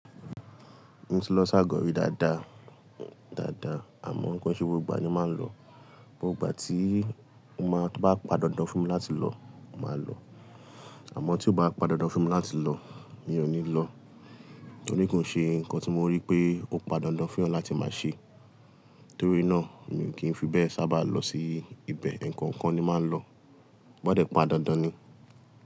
Mo ti lọ s'ágọ̀ rí dáadáa, dáadáa, àmọ ko n ṣe gbogbo ìgbà ni màá ń lọ. Gbogbo ìgbà tí, to bá pa dáńdan fún mi láti lọ, mo màá lọ. Àmọ tí ó bá padà dáńfó fún mi láti lọ, mi ò ní lọ. Pe ki n ṣe nǹkan tí mo rí pé ó pa dàndáń fún eeyan láti máa ṣe. Nítorí náà, èmi kì í fi bẹ́ẹ̀ sábà lọ sí ibẹ̀. Eko-ńkan ni màá ń lọ. Ó gbọdọ̀ pa dàndáń ni.